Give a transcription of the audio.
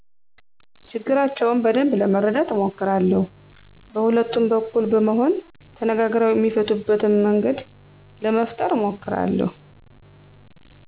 ችግራቸውን በደንብ ለመረዳት አሞክራለው በሁለቱም በኩል በመሆን ተነጋግረው እሚፈቱበትን መንገድ ለመፈጠረ አሞክራለሁ